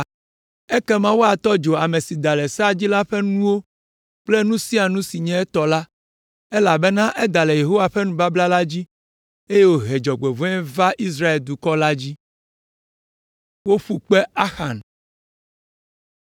Ekema woatɔ dzo ame si da le sea dzi la ƒe nuwo kple nu sia nu si nye etɔ la, elabena eda le Yehowa ƒe nubabla la dzi, eye wòhe dzɔgbevɔ̃e va Israel dukɔ la dzi.’ ”